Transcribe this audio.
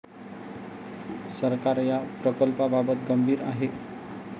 सरकार या प्रकल्पाबाबत गंभीर आहे.